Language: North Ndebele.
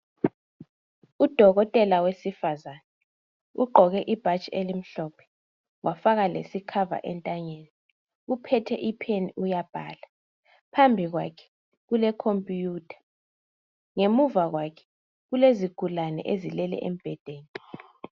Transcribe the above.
Udokotela wesifazana ugqoke ibhatshi elimhlophe. Wafaka lesikhava entanyeni, uphethe usiba uyabhala. Phambi kwakhe kule khompuyutha, ngemuva kwakhe kulezigula ezilele embedeni.